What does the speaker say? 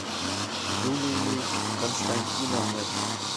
юлией константиновной